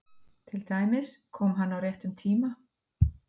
Til dæmis: Kom hann á réttum tíma?